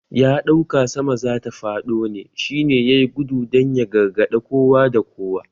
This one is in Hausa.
Ya dauka sama zata fado ne shi ne yayi gudu dan ya gargade kowa da kowa